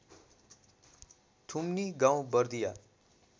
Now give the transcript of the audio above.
थुमनि गाउँ बर्दिया